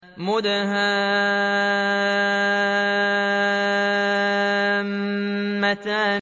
مُدْهَامَّتَانِ